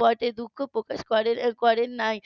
পর্যায়ে দুঃখ প্রকাশ করে নাই